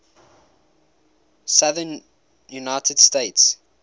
southern united states